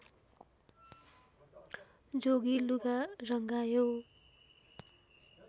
जोगी लुगा रङ्गायौ